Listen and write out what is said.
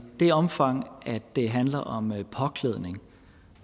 det omfang det handler om påklædning